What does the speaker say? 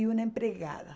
E uma empregada.